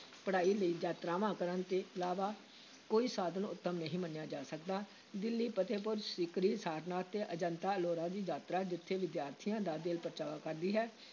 ਪੜ੍ਹਾਈ ਲਈ ਯਾਤਰਾਵਾਂ ਕਰਨ ਤੋਂ ਇਲਾਵਾ ਕੋਈ ਸਾਧਨ ਉੱਤਮ ਨਹੀਂ ਮੰਨਿਆ ਜਾ ਸਕਦਾ, ਦਿੱਲੀ, ਫਤਹਿਪੁਰ ਸੀਕਰੀ, ਸਾਰਨਾਥ ਤੇ ਅਜੰਤਾ-ਅਲੋਰਾ ਦੀ ਯਾਤਰਾ ਜਿੱਥੇ ਵਿਦਿਆਰਥੀਆਂ ਦਾ ਦਿਲ ਪਰਚਾਵਾ ਕਰਦੀ ਹੈ,